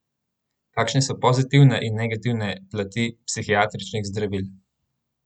Kakšne so pozitivne in negativne plati psihiatričnih zdravil?